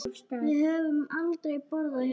Við höfum aldrei borðað hérna.